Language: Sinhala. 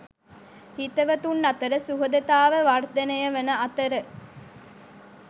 හිතවතුන් අතර සුහදතාව වර්ධනය වන අතර